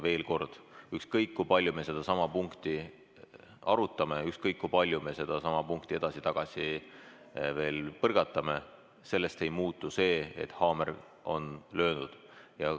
Veel kord, ükskõik, kui palju me sedasama punkti arutame, ükskõik kui palju me sedasama punkti edasi-tagasi veel põrgatame, sellest ei muutu see, et haamer on löönud.